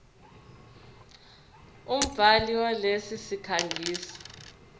umbhali walesi sikhangisi